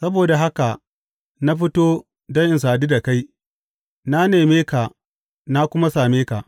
Saboda haka na fito don in sadu da kai; na neme ka na kuma same ka!